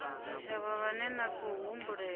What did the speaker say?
tshitshavha vhane na khou humbulela